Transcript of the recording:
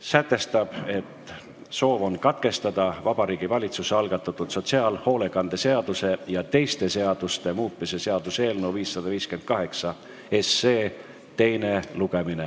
sätestab soovi katkestada Vabariigi Valitsuse algatatud sotsiaalhoolekande seaduse ja teiste seaduste muutmise seaduse eelnõu 558 teine lugemine.